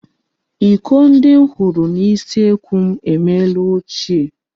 Iko ndi m hụrụ n'usekwu emeela ochie.